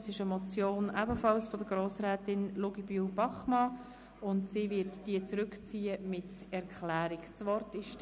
Diese Motion ist ebenfalls von Grossrätin LuginbühlBachmann, und sie zieht diese mit einer Erklärung zurück.